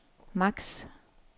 max